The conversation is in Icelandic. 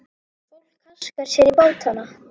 Fólk haskar sér í bátana.